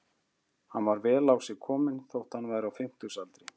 Hann var vel á sig kominn þótt hann væri á fimmtugsaldri.